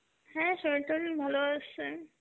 হ্যাঁ শরীর-টোরিল ভালো আছে.